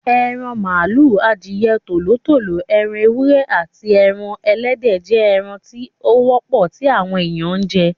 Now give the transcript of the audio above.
Eran màlúù, adìẹ, Tòló tòló, ẹran ewúrẹ́, aàti ẹran Ẹlẹ́dẹ̀ jẹ́ ẹran tí ó wọ́pọ̀ tí àwọn èèyàn ń jẹ.